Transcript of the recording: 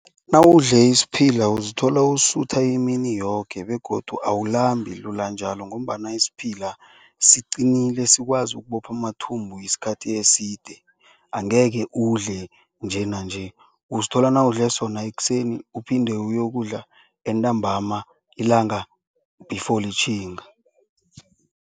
Nawudle isiphila uzithola usutha imini yoke begodu awulambi lula njalo ngombana isiphila siqinile sikwazi ukubopha amathumbu isikhathi eside. Angekhe udle njenanje uzithola nawudle sona ekuseni uphinde uyokudla entambama ilanga before litjhinga.